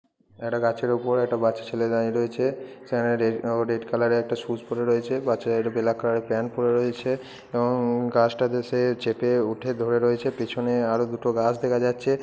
এটা গাছের উপর একটা বাচ্চা ছেলে দাঁড়িয়ে রয়েছে সেনেটের ও রেড কালোর একটা স্যু পরে রয়েছে বাচ্চাটা একটা ব্ল্যাক কালার - এর প্যান্ট পরে রয়েছে এবং গাছটা তে চেপে উঠে ধরে রয়েছে এবং পেছনে আরো দুটো গাছ দেখা যাচ্ছে।